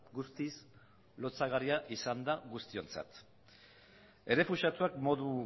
guztiz lotsagarria izan da guztiontzat errefuxiatuak modu